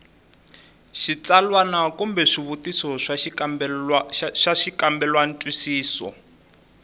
xitsalwana kumbe swivutiso swa xikambelantwisiso